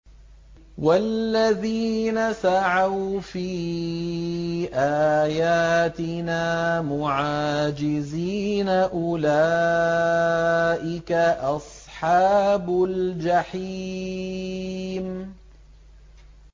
وَالَّذِينَ سَعَوْا فِي آيَاتِنَا مُعَاجِزِينَ أُولَٰئِكَ أَصْحَابُ الْجَحِيمِ